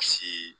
Si